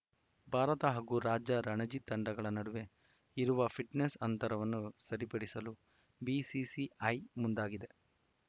ಭಾರತ ಹಾಗೂ ರಾಜ್ಯ ರಣಜಿ ತಂಡಗಳ ನಡುವೆ ಇರುವ ಫಿಟ್ನೆಸ್‌ ಅಂತರವನ್ನು ಸರಿಪಡಿಸಲು ಬಿಸಿಸಿಐ ಮುಂದಾಗಿದೆ